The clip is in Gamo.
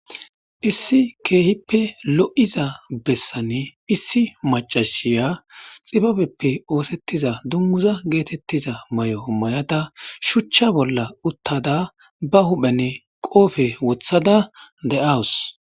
Issi keehippe lo7iza bessanee issi maccasiya tsibabeppe ooseththiza dungguza geetheththiza maayo mayada shuchcha bolla uththada ba huupheni qophe woththada de7awus.